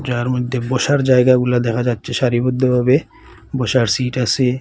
যার মধ্যে বসার জায়গাগুলো দেখা যাচ্ছে সারিবদ্ধভাবে বসার সিট আসে।